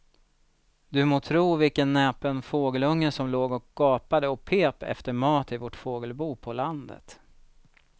Du må tro vilken näpen fågelunge som låg och gapade och pep efter mat i vårt fågelbo på landet.